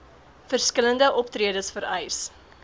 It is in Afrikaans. verskillende optredes vereis